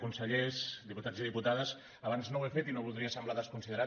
consellers diputats i diputades abans no ho he fet i no voldria semblar desconsiderat